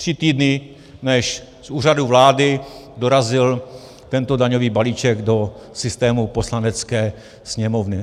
Tři týdny, než z úřadu vlády dorazil tento daňový balíček do systému Poslanecké sněmovny.